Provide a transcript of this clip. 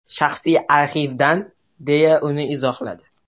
Shaxsiy arxivdan”, deya uni izohladi.